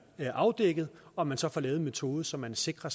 afdækket og man så får lavet en metode så man sikrer